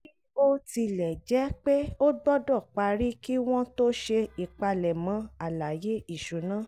bí ó tilẹ̀ jẹ́ pé ó gbọ́dọ̀ parí kí wọ́n tó ṣe ìpalẹ̀mọ́ àlàyé ìṣúná.